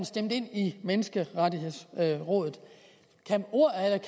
stemt ind i menneskerettighedsrådet